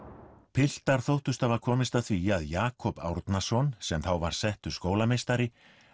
piltar þóttust hafa komist að því að Jakob Árnason sem þá var settur skólameistari